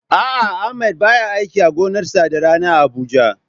A'a Ahmad baya aiki a gonarsa da rana a Abuja.